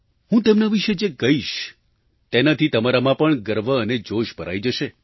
હું તેમના વિશે જે કહીશ તેનાથી તમારામાં પણ ગર્વ અને જોશ ભરાઈ જશે